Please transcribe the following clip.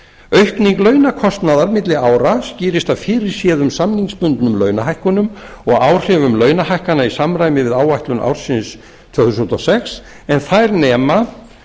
aukning launakostnaðar milli ára skýrist af fyrirséðum samningsbundnum launahækkunum og áhrifum launahækkana í samræmi við áætlun ársins tvö þúsund og sex en þær nema